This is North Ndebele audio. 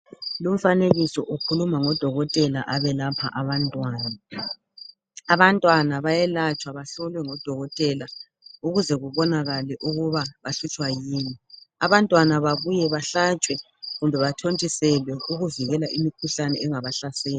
Lo umfanekiso ukhuluma ngodokotela abelapha abantwana. Abantwana bayelatshwa bahlolwe ngodokotela ukuze babonakale ukuba bahlutshwa yini. Abantwana babuye bahlatshwe kumbe bathontiselwe ukuvikela imikhuhlane engaba sahlasela .